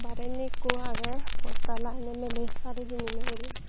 tey indi ikko aggey poster lageye miley sari pinney guri.